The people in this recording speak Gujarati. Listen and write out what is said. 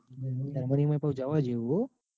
જર્મની માં પણ જવા જેવું હ.